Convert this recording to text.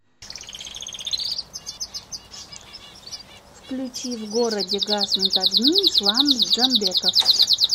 включи в городе гаснут огни ислам джамбеков